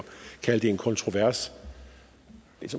kalde det en kontrovers